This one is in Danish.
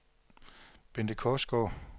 Bente Korsgaard